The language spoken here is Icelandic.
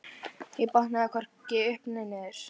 Ég botnaði hvorki upp né niður.